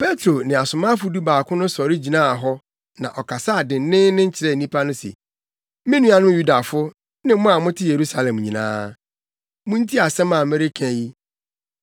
Petro ne asomafo dubaako no sɔre gyinaa hɔ na ɔkasaa denneennen kyerɛɛ nnipa no se, “Me nuanom Yudafo ne mo a mote Yerusalem nyinaa, muntie asɛm a mereka yi.